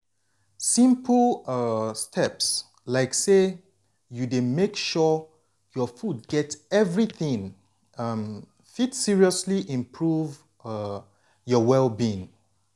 simple um steps like say you dey make sure your food get everything um fit seriously improve um your well-being.